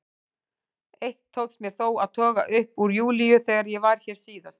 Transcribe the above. Eitt tókst mér þó að toga upp úr Júlíu þegar ég var hér síðast.